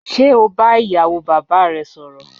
Ṣe o ba iyawo baba rẹ sọrọ?